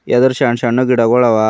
ಎದುರ್ ಸಣ್ಣ್ ಸಣ್ಣ್ ಗಿಡಗುಳವ ಇ--